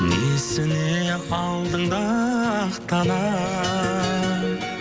несіне алдыңда ақталам